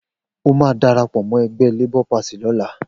O máa darapọ̀ mọ́ ẹgbẹ́ LP lọ́la.